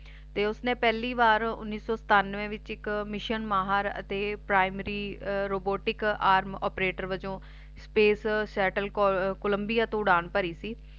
ਤੇ ਉਸਨੇ ਪਹਿਲੀ ਵਾਰ ਉੱਨੀ ਸੋ ਸਤਾਨਵੈ ਦੇ ਵਿਚ ਇਕ mission ਮਾਹਰ ਅਤੇ primary robotic arm operator ਵੱਜੋ Space Settle Columbia ਤੋਂ ਉਡਾਣ ਭਰੀ ਸੀ